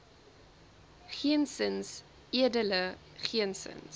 geensins edele geensins